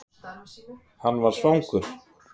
Hann var svangur.